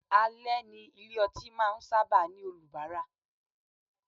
Ale ni ilé ọtí máa ń sábà ní olubara.